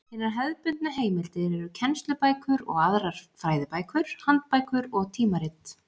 Hinar hefðbundnu heimildir eru kennslubækur og aðrar fræðibækur, handbækur og tímarit.